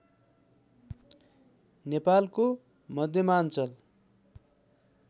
नेपालको मध्यमाञ्चल